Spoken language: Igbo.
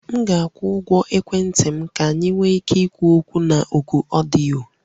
M ga-akwụ ụgwọ ekwentị m ka anyị nwee ike ikwu okwu na oku ọdịyo